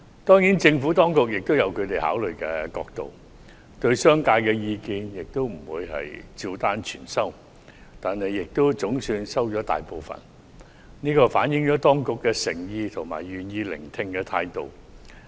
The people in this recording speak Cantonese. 當然，政府當局也有其考慮角度，不會對商界的意見照單全收，但亦總算接受了大部分意見，這反映當局的誠意及願意聆聽的態度。